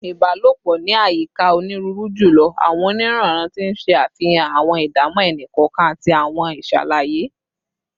Ibalopo ni ayika oniruuru julọ. Oniranran, ti n ṣe afihan awọn idamọ ẹni kọọkan ati awọn iṣalaye